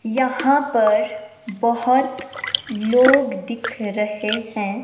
यहां पर बहोत लोग दिख रहे है।